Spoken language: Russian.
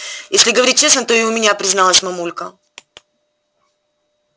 если говорить честно то и у меня призналась мамулька